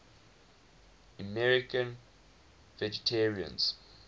american vegetarians